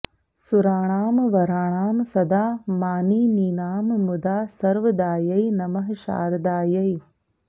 सुराणां वराणां सदा मानिनीनां मुदा सर्वदायै नमः शारदायै